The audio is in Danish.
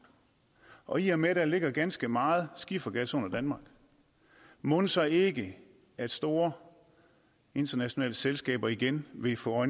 og i og med der ligger ganske meget skifergas under danmark mon så ikke at store internationale selskaber igen vil få